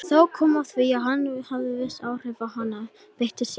Þó kom fram að hann gæti haft viss áhrif ef hann beitti sér.